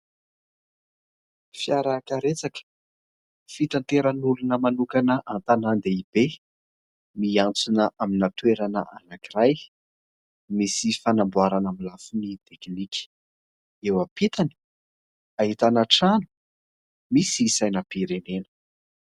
Fiara karetsaka fitateran'olona manokana an-tanàn-dehibe miantsona amina toerana anankiray misy fanamboarana amin'ny lafiny teknika. Eo ampitany, ahitana trano misy sainam-pirenena.